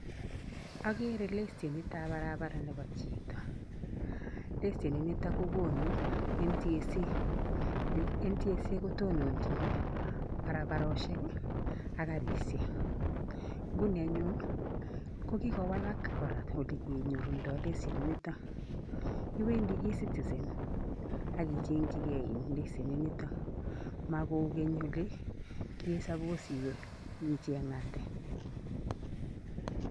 Akere lesenitap barabara nepo chito. Leseninito kokonu national transport and safety authority national transport and safety authority kotononchin barabaroshek ak karishek. Nguni anyun ko kikowalak kora olekenyorundoi leseninito. Iwendi E-citizen akicheng'chikei leseninito. Makou keny ole ki suppose iwe icheng'ate.